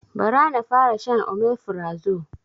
Ba ra na fara shan omefrazo